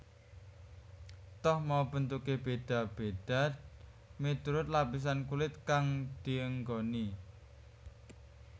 Toh mau bentuke beda beda miturut lapisan kulit kang dienggoni